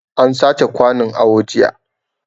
An sace kwanun awo jiya